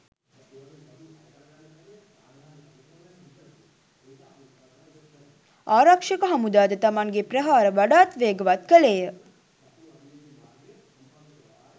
ආරක්ෂක හමුදා ද තමන්ගේ ප්‍රහාර වඩාත් වේගවත් කළේය.